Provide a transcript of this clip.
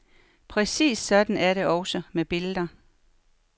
Præcis sådan er det også med billeder.